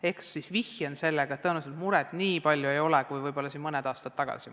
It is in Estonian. Ehk siis vihjan sellele, et tõenäoliselt ei ole muret nii palju kui võib-olla mõni aasta tagasi.